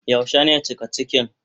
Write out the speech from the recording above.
Yaushe ne cika cikin?